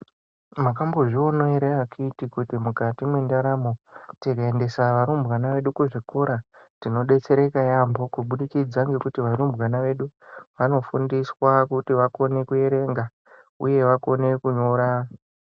Makambozvionavo ere akhiti kuti mukati mendaramo tikaendesa arumbwana vedu kuzvikora tinobetsereka yaambo. Kubudikidza ngekuti varumbwana vedu vanofundiswa kuti vakone kuverenga, uye vakone kunyora